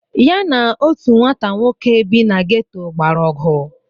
Ya na otu nwata nwoke bi na gétò gbara ọgụ